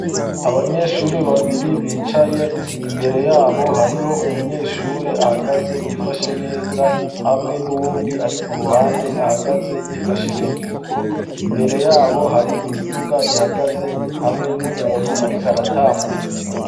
Abanyeshuri babiri bicaye, imbere yabo hariho umunyeshure ahagaze yifashe neza hamwe n'uwundi arikuruhande ahagaze yifashe mu mifuko. Imbere yabo hari imiduga ihagaze hamwe n'umuntu ariko aratambuka.